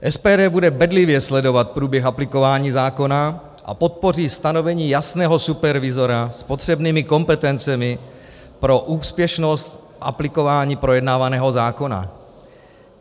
SPD bude bedlivě sledovat průběh aplikování zákona a podpoří stanovení jasného supervizora s potřebnými kompetencemi pro úspěšnost aplikování projednávaného zákona.